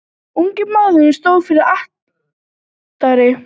Ungi maðurinn stóð fyrir altari.